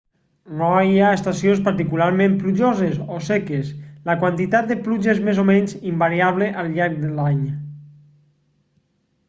no hi ha estacions particularment plujoses o seques la quantitat de pluja és més o menys invariable al llarg de l'any